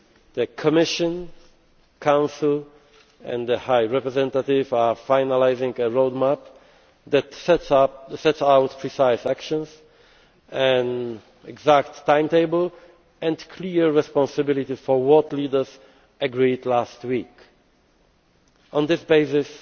The Commission, the Council and the High Representative are finalising a roadmap that sets out precise actions, an exact timetable and clear responsibility for what leaders agreed last week. On